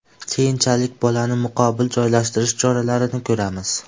Keyinchalik bolani muqobil joylashtirish choralarini ko‘ramiz.